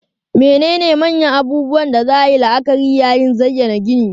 Menene manyan abubuwan da za a yi la'akari yayin zayyana ginin?